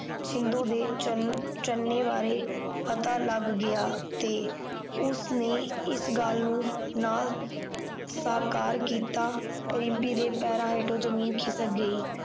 ਸ਼ਿੰਦੋ ਦੇ ਚਰਨ ਚੰਨੇ ਬਾਰੇ ਪਤਾ ਲੱਗ ਗਿਆ ਤੇ ਉਸਨੇ ਇਸ ਗੱਲ ਨੂੰ ਨਾ ਸਾਕਾਰ ਕੀਤਾ ਰਿਮਪੀ ਦੇ ਪੈਰਾਂ ਹੇਠੋ ਜ਼ਮੀਨ ਖ਼ਿਸਕ ਗਈ